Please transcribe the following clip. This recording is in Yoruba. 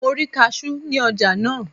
Mo rí kasú ní ọjà náà.